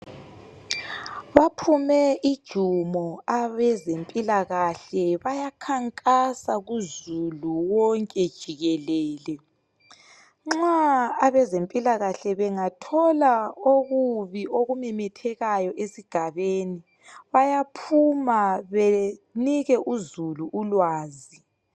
Baphume ijumo abezempilakahle bayakhankasa kuzulu wonke jikelele nxa abezempilakahle bangathola okubi okumemethekayo esigabeni bayaphuma benike uzulu ulwazi.